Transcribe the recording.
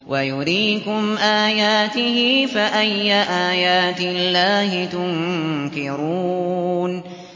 وَيُرِيكُمْ آيَاتِهِ فَأَيَّ آيَاتِ اللَّهِ تُنكِرُونَ